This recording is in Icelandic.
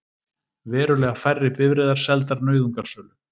Verulega færri bifreiðar seldar nauðungarsölu